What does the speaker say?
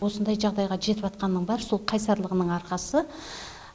осындай жағдайға жетіп жатқанның бәрі сол қайсарлығының арқасы